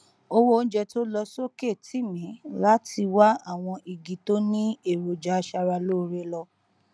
owó oúnjẹ tó lọ sókè tì mí láti wá àwọn igi tó ní èròjà aṣara lóore lọ